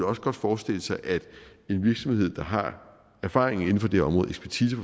også godt forestille sig at en virksomhed der har erfaring inden for det område